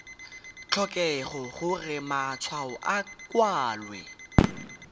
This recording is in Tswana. tlhokege gore matshwao a kwalwe